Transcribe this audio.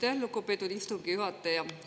Aitäh, lugupeetud istungi juhataja!